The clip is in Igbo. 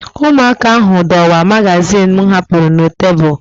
Ụmụaka ahụ dọwaa magazin m hapụrụ na tebụl